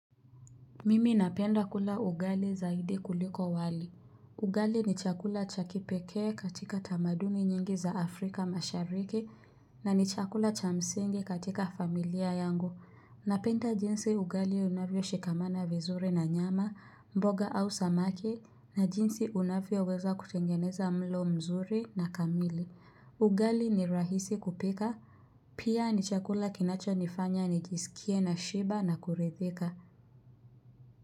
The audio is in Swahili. Mimi napenda kula ugali zaidi kuliko wali. Ugali ni chakula cha kipekee katika tamaduni nyingi za Afrika mashariki na ni chakula cha msingi katika familia yangu. Napenda jinsi ugali unavyoshikamana vizuri na nyama, mboga au samaki na jinsi unavyoweza kutengeneza mlo mzuri na kamili. Ugali ni rahisi kupika, pia ni chakula kinachonifanya nijisikie nashiba na kuridhika.